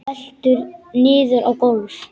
Veltur niður á gólf.